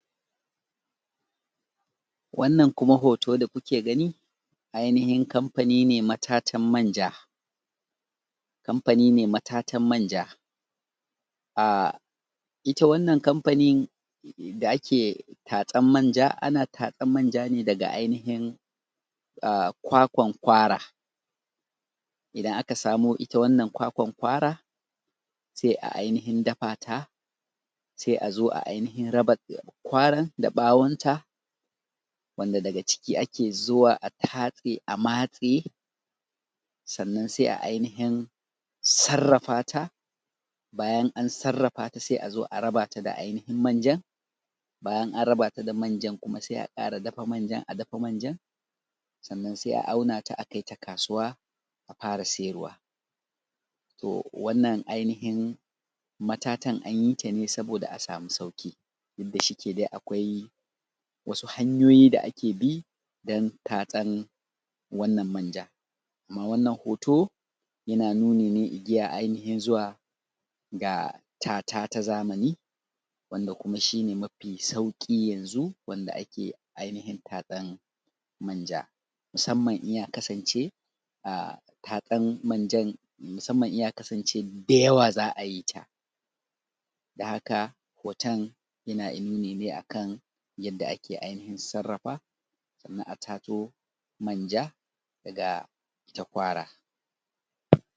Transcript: Wannan kuma hoto dakuke gani, ainihin kamfanine ma tatan manja. Kamfanine ma tatan manja. Ahh ita wannan kamfanin, da ake ta tsan manja. Ana tatsan manjane, daga ainihin ahh kwakwan kwara. Idan aka samo ita wannan kwakwan kwara, se a ainihin dafata. Se azo a ainihin raba kwaran da bawonta, wanda daga ciki ake zuwa a tatse a matse. Sannan se a ainihin, sarrafata. Bayan an sarrafata, se azo a rabata da ainihin manjan. Bayan an rabata da manjan, kuma se a kara dafa manjan, a dafa manjan. Sannan se a aunata a kaita kasuwa, a fara siyarwa. To wannan ainihin matatan anyitane saboda a samu sauki. Dudda shike da akwai, wasu hanyoyi da ake bi dan tatsan wannan manja. Amma wannan hoto, yana nuni ne igiya a ainihin zuwa ga tata ta zamani. Wanda kuma shine mafi sauki yanzu, wanda ake ainihin tatsan manja. Musamman in ya kasance, a tatsan manjan musamman in ya kasance dayawa za’ayita. Dan haka hoton, yana inuni ne akan yanda ake ainihin sarrafa. Sannan a tatso manja, daga ita kwara.